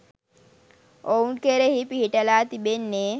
ඔවුන් කෙරෙහි පිහිටලා තිබෙන්නේ